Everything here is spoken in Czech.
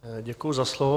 Děkuji za slovo.